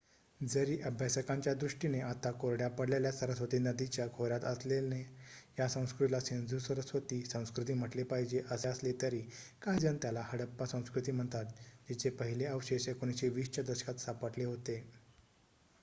जरी अभ्यासकांच्या दृष्टीने आता कोरड्या पडलेल्या सरस्वती नदीच्या खोऱ्यात असल्याने या संस्कृतीला सिंधू-सरस्वती संस्कृती म्हटले पाहिजे असे असले तरी काहीजण त्याला हडप्पा संस्कृती म्हणतात जिचे पहिले अवशेष १९२० च्या दशकात सापडले होते